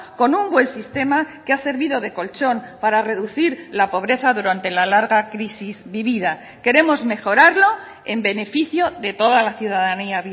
con un buen sistema que ha servido de colchón para reducir la pobreza durante la larga crisis vivida queremos mejorarlo en beneficio de toda la ciudadanía